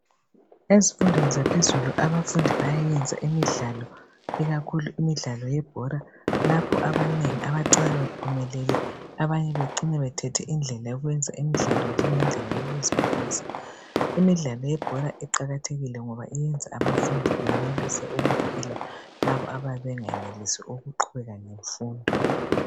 Ezifundweni zaphezulu abafundi bayayenza imidlalo ikakhulu imidlalo yebhora lapho abanengi abacina bephumelele abanye becine bethethe indlela yokwenza imidlalo njengendlela yokuziphilisa. Imidlalo yebhora iqakathekile ngoba yenza abafundi benelise ukuphila labo abayabe bengayenelisi ukuqhubeka ngemfundo